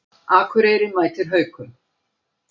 Akureyri mætir Haukum